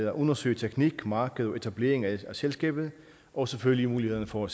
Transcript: at undersøge teknik marked og etablering af selskabet og selvfølgelig mulighederne for